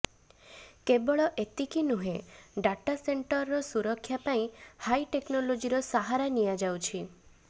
କେବଳ ଏତିକି ନୁହେଁ ଡ଼ଟା ସେଣ୍ଟରର ସୁରକ୍ଷା ପାଇଁ ହାଇଟେକନଲୋଜୀର ସାହାରା ନିଆଯାଉଛି